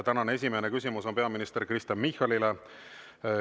Tänane esimene küsimus on peaminister Kristen Michalile.